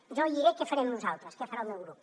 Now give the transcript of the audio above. jo li diré què farem nosaltres què farà el meu grup